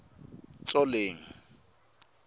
tsoleng